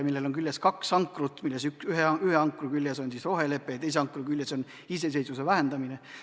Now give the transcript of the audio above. Selle laeva küljes on kaks ankrut, ühe ankru küljes on rohelepe ja teise ankru küljes on iseseisvuse vähendamine.